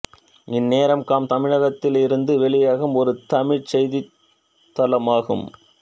இந்நேரம் காம் தமிழகத்திலிருந்து வெளியாகும் ஒரு தமிழ்ச் செய்தித் தளம் ஆகும்